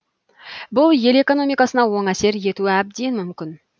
бұл ел экономикасына оң әсер етуі әбден мүмкін